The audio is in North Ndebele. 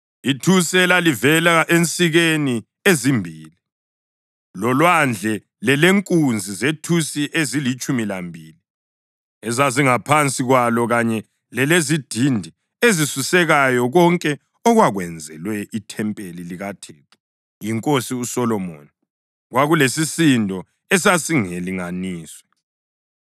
Ithusi elalivela ensikeni ezimbili, loLwandle lelenkunzi zethusi ezilitshumi lambili ezazingaphansi kwalo kanye lelezidindi ezisusekayo konke okwakwenzelwe ithempeli likaThixo yinkosi uSolomoni, kwakulesisindo esasingelinganiswe.